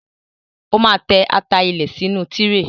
Ó máa tẹ́ ata ilẹ̀ sínú tíréè.